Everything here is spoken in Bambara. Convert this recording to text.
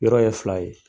Yɔrɔ ye fila ye